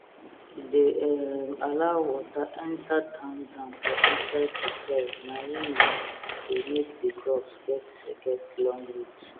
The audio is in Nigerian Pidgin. e dey um allow water enter down down for inside di soil naim um dey make di crops get get long root